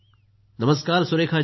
नमस्कार सुरेखा जी